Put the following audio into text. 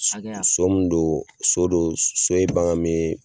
Hakɛya So mun do so do so ye bagan min ye